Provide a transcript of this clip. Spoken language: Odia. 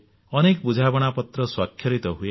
ଅନେକ ବୁଝାମଣା ପତ୍ର ସ୍ୱାକ୍ଷରିତ ହୁଏ